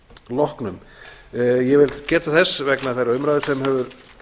loknum ég vil geta þess vegna þeirrar umræðu sem hefur